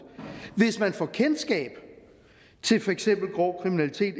hvis man får kendskab til for eksempel grov kriminalitet